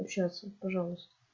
общаться пожалуйста